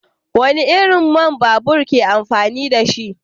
Wani irin man babur ke amfani da shi?